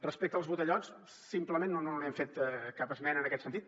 respecte als botellots simplement no hem fet cap esmena en aquest sentit